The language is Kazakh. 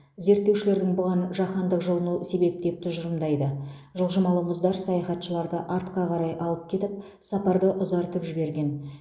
зерттеушілер бұған жаһандық жылыну себеп деп тұжырымдайды жылжымалы мұздар саяхатшыларды артқа қарай алып кетіп сапарды ұзартып жіберген